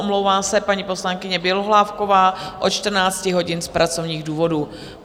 Omlouvá se paní poslankyně Bělohlávková od 14 hodin z pracovních důvodů.